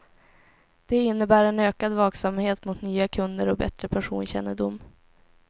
Det innebär en ökad vaksamhet mot nya kunder och bättre personkännedom.